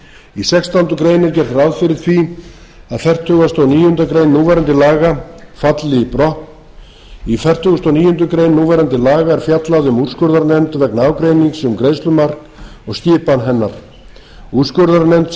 í sextándu grein er gert ráð fyrir því að fertugasta og níundu grein núverandi laga falli brott í fertugustu og níundu grein núverandi laga er fjallað um úrskurðarnefnd vegna ágreining um greiðslumark og skipan hennar úrskurðarnefnd